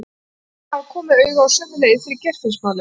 Nú virtist hann hafa komið auga á sömu leið fyrir Geirfinnsmálið.